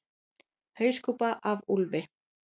Hauskúpa af úlfi.